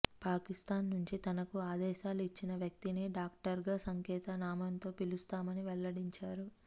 పాకిస్థాన్ నుంచి తనకు ఆదేశాలు ఇచ్చిన వ్యక్తిని డాక్టర్గా సంకేత నామంతో పిలుస్తామని వెల్లడించారు